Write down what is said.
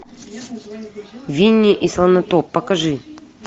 винни и слонотоп покажи